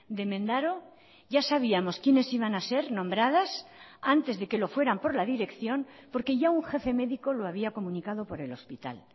de mendaro ya sabíamos quienes iban a ser nombradas antes de que lo fueran por la dirección porque ya un jefe médico lo había comunicado por el hospital